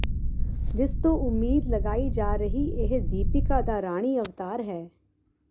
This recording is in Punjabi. ਜਿਸ ਤੋਂ ਉਮੀਦ ਲਗਾਈ ਜਾ ਰਹੀ ਇਹ ਦੀਪਿਕਾ ਦਾ ਰਾਣੀ ਅਵਤਾਰ ਹੈ